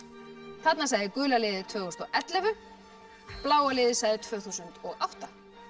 þarna sagði gula liðið tvö þúsund og ellefu bláa liðið sagði tvö þúsund og átta